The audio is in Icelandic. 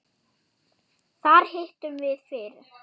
Þar hittum við fyrir